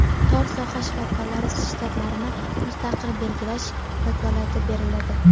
tor soha shifokorlari shtatlarini mustaqil belgilash vakolati beriladi.